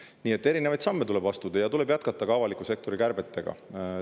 Nii et erinevaid samme tuleb astuda ja tuleb jätkata ka avaliku sektori kärpeid.